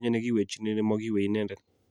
makinye ne kiywechini ne mo keywei inendet